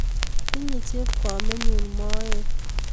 tinye chepkomenyu moet